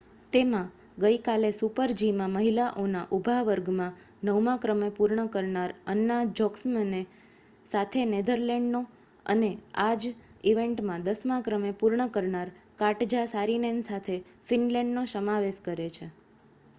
તેમાં ગઈ કાલે સુપર જી માં મહિલાઓના ઊભા વર્ગમાં નવમા ક્રમે પૂર્ણ કરનાર અન્ના જોકમસેન સાથે નેધર લેન્ડનો અને આ જ ઇવેન્ટમાં દસમાં ક્રમે પૂર્ણ કરનાર કાટજા સારીનેન સાથે ફીનલેંડનો સમાવેશ કરે છે